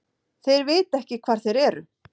Þeir vita ekki hvar þeir eru.